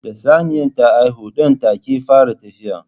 Da Saniya ta haihu ɗan take fara tafiya